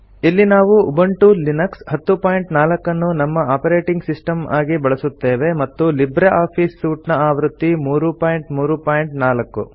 ಇಲ್ಲಿ ನಾವು Ubuntu Linux 1004 ಅನ್ನು ನಮ್ಮ ಆಪರೇಟಿಂಗ್ ಸಿಸ್ಟಮ್ ಆಗಿ ಬಳಸುತ್ತೇವೆ ಮತ್ತು ಲಿಬ್ರೆ ಆಫೀಸ್ ಸೂಟ್ ನ ಆವೃತ್ತಿ 334